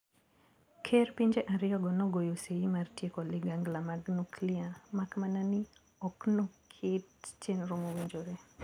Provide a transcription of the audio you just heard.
Ker pinje ariyogo nogoyo seyi mar tieko ligangla mag nuklia makmana ni oknoket chenro mowinjore.